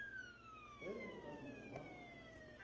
ge go ka no ba